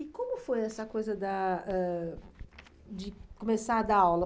E como foi essa coisa da ãh de começar a dar aula?